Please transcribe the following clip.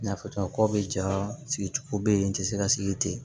N y'a fɔ cogo min na ko bɛ ja sigi cogo be yen n tɛ se ka sigi ten